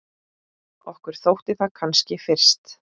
Okkur þótti það kannski fyrst.